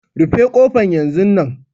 Rufe kofan yanzun nan!